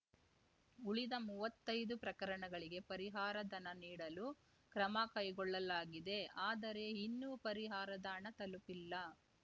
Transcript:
ಉಳಿದ ಮುವ್ವತ್ತೈದು ಪ್ರಕರಣಗಳಿಗೆ ಪರಿಹಾರ ಧನ ನೀಡಲು ಕ್ರಮ ಕೈಗೊಳ್ಳಲಾಗಿದೆ ಆದರೆ ಇನ್ನೂ ಪರಿಹಾರದ ಹಣ ತಲುಪಿಲ್ಲ